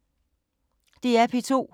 DR P2